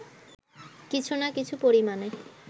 কিছু না কিছু পরিমাণে